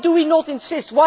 Why do we not insist?